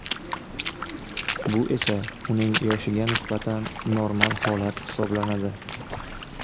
Bu esa uning yoshiga nisbatan normal holat hisoblanadi.